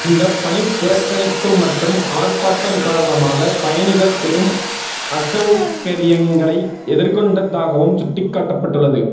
இந்த பணிப்புறக்கணிப்பு மற்றும் ஆர்ப்பாட்டம் காரணமாக பயணிகள் பெரும் அசௌகரியங்களை எதிர்கொண்டதாகவும் சுட்டிக்காட்டப்பட்டுள்ளது